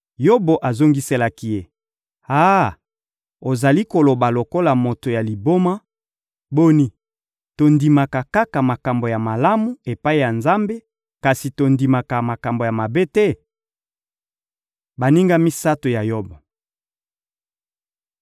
Yobo azongiselaki ye: — Ah! Ozali koloba lokola moto ya liboma! Boni, tondimaka kaka makambo ya malamu, epai ya Nzambe, kasi tondimaka makambo mabe te? Baninga misato ya Yobo